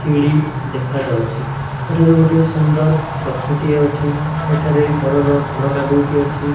ସିଡି ଦେଖାଯାଉଛି ଏଠାରେ ଗୋଟିଏ ସୁନ୍ଦର ଗଛଟିଏ ଅଛି ଏଠାରେ ଘରର ଝରକା ଦୁଇଟି ଅଛି।